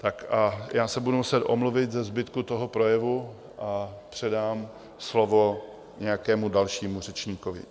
Tak a já se budu muset omluvit ze zbytku toho projevu a předám slovo nějakému dalšímu řečníkovi.